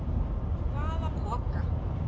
Hvaða poka?